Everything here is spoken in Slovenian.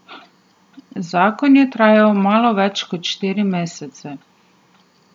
Zakon je trajal malo več kot štiri mesece.